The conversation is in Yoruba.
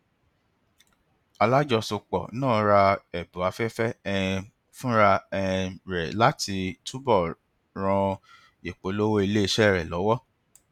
alájọsọpọ náà ra ẹbùn afẹfẹ um fúnra um rẹ láti túbò ràn ìpolówó iléiṣẹ rẹ lọwọ